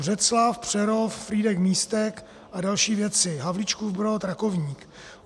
Břeclav, Přerov, Frýdek-Místek a další věci, Havlíčkův Brod, Rakovník.